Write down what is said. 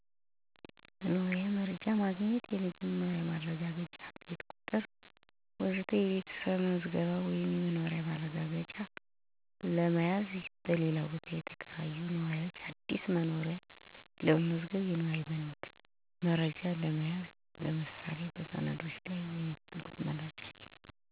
1. የመኖሪያ መረጃ ማግኘት (የመኖሪያ ማረጋገጫ፣ ቤት ቁጥር ወዘተ) ቤተሰብ መዝገብ ወይም የመኖሪያ ማረጋገጫ ለመያዝ፣ በሌላ ቦታ የተከራዩ ነዋሪዎች አዲስ መኖሪያ ለመመዝገብ፣ የነዋሪ መረጃ ለመያዝ (ምሳሌ በሰነዶች ላይ የሚፈለግ መረጃ)። 2. አስተዳደራዊ እና ህጋዊ አገልግሎቶች ለማግኘት የአመራር ጉባኤ ምክር ወይም የተመረጡ ተወካዮች ጋር ለመወያየት፣ የተቆጣጠሩ ጉዳዮችን (በማኅበረሰብ ውስጥ በተከሰተ ግጭት ወይም ችግር) ለማቅረብ፣ ማንኛውም ቅሬታ ወይም መግለጫ ለማቅረብ። 3. ማህበራዊ ድጋፍን ለመጠየቅ ወይም ለመቀበል